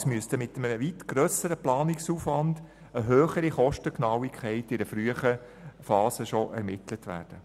Andernfalls müsste mit einem weit grösseren Planungsaufwand eine höhere Kostengenauigkeit schon in einer frühen Phase ermittelt werden.